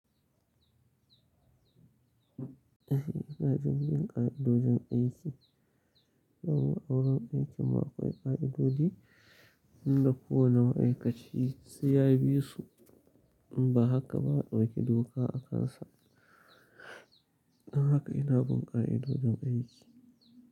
Eh, ina jin ƙa'idojin aiki. Don awurin aikin mu akwai ƙa'idodi inda kowane ma'aikaci sai ya bi su in ba haka ba a ɗauki doka a kansa. Don haka ina bin ƙa'idodin aiki.